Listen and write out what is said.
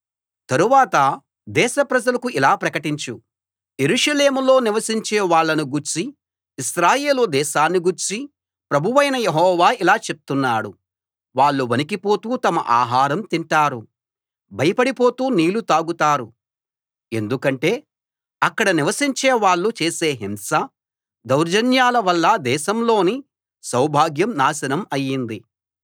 తరువాత దేశ ప్రజలకు ఇలా ప్రకటించు యెరూషలేములో నివసించే వాళ్ళను గూర్చీ ఇశ్రాయేలు దేశాన్ని గూర్చీ ప్రభువైన యెహోవా ఇలా చెప్తున్నాడు వాళ్ళు వణికిపోతూ తమ ఆహారం తింటారు భయపడి పోతూ నీళ్ళు తాగుతారు ఎందుకంటే అక్కడ నివసించే వాళ్ళు చేసే హింస దౌర్జన్యాల వల్ల దేశంలోని సౌభాగ్యం నాశనం అయింది